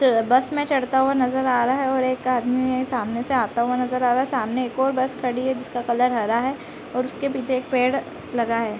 तो बस में चढ़ता हुआ नज़र आ रहा है और एक आदमी सामने से आते हुए नज़र आ रहा है सामने एक और बस खड़ी है जिसका कलर हरा है और उसके पीछे एक पेड़ लगा है।